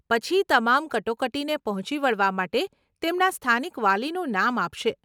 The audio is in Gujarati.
પછી, તમામ કટોકટીને પહોંચી વળવા માટે તેમના સ્થાનિક વાલીનું નામ આપશે.